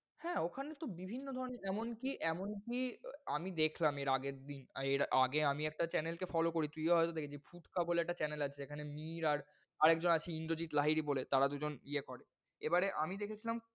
হ্যাঁ, ওখানে তো বিভিন্ন ধরনের এমনকি, এমনকি আহ আমি দেখলাম এর আগের এর আগে আমি একটা channel কে follow করি তুইও হয়ত দেখেছিস ফুচকা বলে একটা channel আছে যেখানে মীর আর আরেকজন আছে ইন্দ্রজিত লাহিড়ী বলে তারা দুজন ইয়ে করে। এবারে আমি দেখেছিলাম,